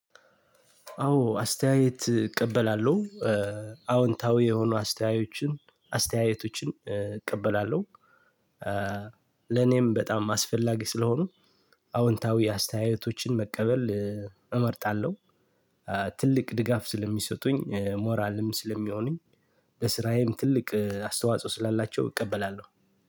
አዎ አስተያየት እቀበላለሁ። አዎንታዊ የሆኑ አስተያየቶችን እቀበላለሁ። ለኔም በጣም አስፈላጊ ስለሆኑ አዎንታዊ አስተያየቶችን መቀበል እመርጣለሁ። ትልቅ ድጋፍ ስለሚሰጡኝ ሞራልም ስለሚሆኑኝ በስራዬም ትልቅ አስተዋጽኦ ስላላቸው እቀበላለሁ።